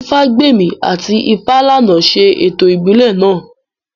Ifágbèmí àti Ifálànà ṣe ètò ìbílẹ̀ náà